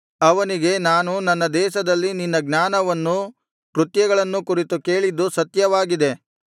ಅವನಿಗೆ ನಾನು ನನ್ನ ದೇಶದಲ್ಲಿ ನಿನ್ನ ಜ್ಞಾನವನ್ನೂ ಕೃತ್ಯಗಳನ್ನೂ ಕುರಿತು ಕೇಳಿದ್ದು ಸತ್ಯವಾಗಿದೆ